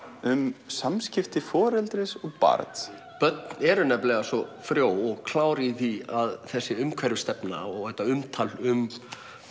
um samskipti foreldris og barns börn eru nefnilega svo frjó og klár í því að þessi umhverfisstefna og þetta umtal um